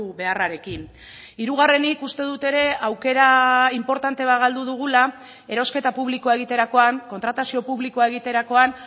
beharrarekin hirugarrenik uste dut ere aukera inportante bat galdu dugula erosketa publikoa egiterakoan kontratazio publikoa egiterakoan